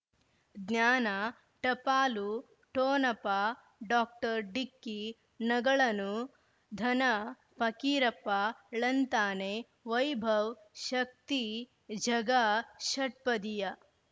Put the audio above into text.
ಜ್ಞಾನ ಟಪಾಲು ಠೊಣಪ ಡೋಕ್ಟರ್ ಢಿಕ್ಕಿ ಣಗಳನು ಧನ ಫಕೀರಪ್ಪ ಳಂತಾನೆ ವೈಭವ್ ಶಕ್ತಿ ಝಗಾ ಷಟ್ಪದಿಯ